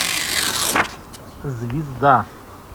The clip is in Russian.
звезда